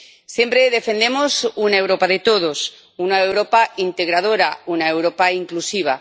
Siempre defendemos una Europa de todos, una Europa integradora, una Europa inclusiva.